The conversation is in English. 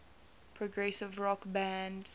progressive rock band